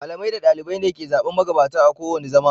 Malamai da ɗalibai ne ke zaɓen magabata kowane zama.